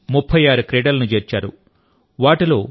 ఇందులో 36 క్రీడలను చేర్చారు